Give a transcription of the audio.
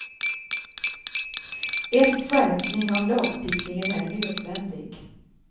En skärpning av lagstiftningen är nödvändig.